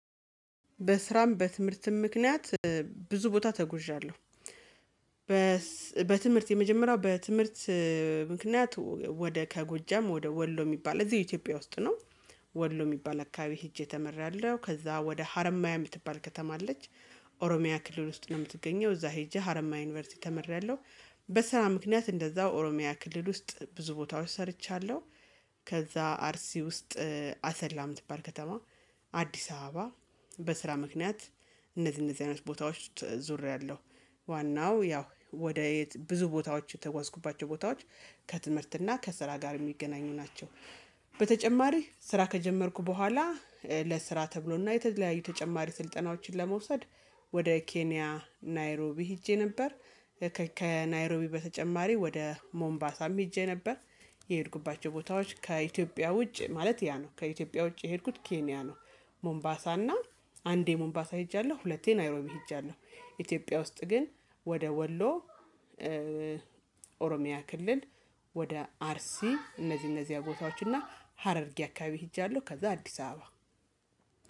በስራም በትምህርትም ምክንያት ብዙ ቦታ ተጉዣለሁ። በትምህርት የመጀመሪያው በትምህርት ምክንያት ወደ ከጎጃም ወደ ወሎ የሚባል እዚሁ የኢትዮጵያ ውስጥ ነው። ወሎ የሚባል አካባቢ ሄጄ ተምሬአለሁ ከዛ ወደ ሀረማያ የምትባል ከተማ አለች። ኦሮሚያ ክልል ውስጥ ነው የምትገኘው እዛ ሄጄ ሀረማያ ዩኒቨርሲቲ ተምሬያለሁ። በስራ ምክንያት እንደዛው ኦሮሚያ ክልል ውስጥ ብዙ ቦታዎች ሰርቻለሁ። ከዛ አርሲ ውስጥ አሰላ የምትባል ከተማ አዲስ አበባ በስራ ምክንያት እነዚህ እነዚህ አይነት ቦታዎች ዙሪያ አለው። ዋናው ያው ወደ ብዙ ቦታዎች የተጓዝኩባቸው ቦታዎች ከትምህርት እና ከስራ ጋር የሚገናኙ ናቸው። በተጨማሪ ስራ ከጀመርኩ በኋላ ለስራ ተብሎና የተለያዩ ተጨማሪ ስልጠናዎችን ለመውሰድ ወደ ኬንያ ናይሮቢ ሄጄ ነበር። ከናይሮቢ በተጨማሪ ወደ ሞምባሳም ሄጄ ነበር። የሄድኩባቸው ቦታዎች ከኢትዮጵያ ውጭ ማለት ያ ነው ከኢትዮጵያ ውጭ የሄድኩት ኬንያ ነው። ሞምባሳ እና አንዴ ሞምባሳ ሄጃለሁ ሁለቴ ናይሮቢ ሄጃለሁ። ኢትዮጵያ ውስጥ ግን ወደ ወሎ ኦሮሚያ ክልል ወደ አርሲ እነዚህ እነዚህ አቦታዎች እና ሀረርጌ አካባቢ ሄጃለሁ። ከዛ አዲስ አበባ።